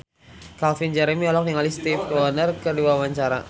Calvin Jeremy olohok ningali Stevie Wonder keur diwawancara